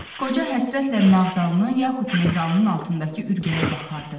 Qoca həsrətlə Nağdalının yaxud Mehralının altındakı ürkəyə baxardı.